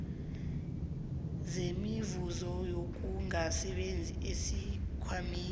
semivuzo yokungasebenzi esikhwameni